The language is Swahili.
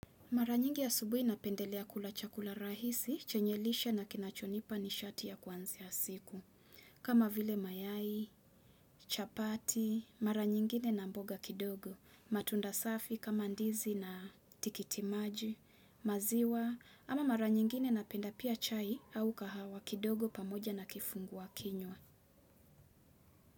Mara nyingi asubuhi napendelea kula chakula rahisi, chenye lishe na kinachonipa ni shati ya kwanzia siku. Kama vile mayai, chapati, mara nyingine na mboga kidogo, matunda safi kama ndizi na tikitimaji, maziwa, ama mara nyingine na penda pia chai au kahawa kidogo pamoja na kifungua kinywa.